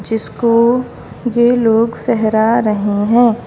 जिसको ये लोग फहरा रहे हैं।